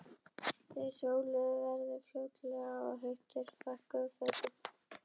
Þeir hjóluðu í góða veðrinu og fljótlega varð þeim svo heitt að þeir fækkuðu fötum.